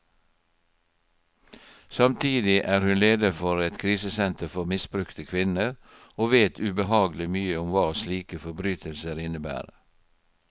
Samtidig er hun leder for et krisesenter for misbrukte kvinner, og vet ubehagelig mye om hva slike forbrytelser innebærer.